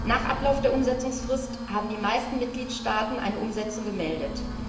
Nach Ablauf der Umsetzungsfrist haben die meisten Mitgliedstaaten eine Umsetzung gemeldet.